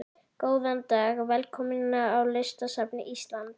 Góðan dag. Velkomin á Listasafn Íslands.